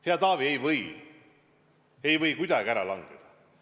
Hea Taavi, need ei või kuidagi ära langeda.